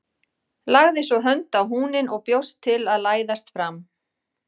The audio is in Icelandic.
Lagði svo hönd á húninn og bjóst til að læðast fram.